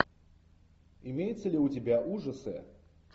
имеется ли у тебя ужасы